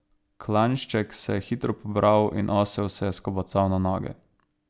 Klajnšček se je hitro pobral in osel se je skobacal na noge.